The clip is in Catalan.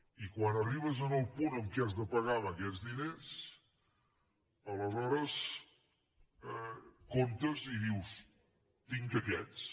i quan arribes al punt en què has de pagar amb aquests diners aleshores comptes i dius tinc aquests